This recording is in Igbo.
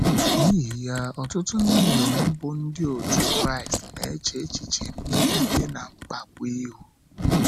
N’ihi ya, ọtụtụ ndị inyom bụ́ ndị otú Kraịst na - eche echiche mmegide na mkpagbu ihu.